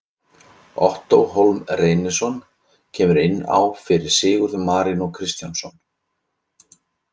Ottó Hólm Reynisson kemur inn á fyrir Sigurð Marinó Kristjánsson.